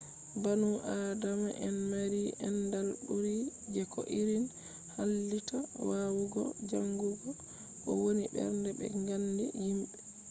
banu adama en maari aandal ɓu’ri je ko irin hallitta wawugo jaangugo ko woni ɓernde be ngaandi yimbe